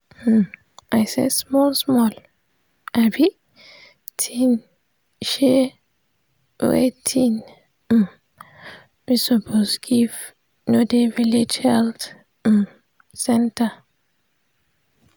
hmm i saysmall small um thing um wey thing um wey suppose give no dey village health um center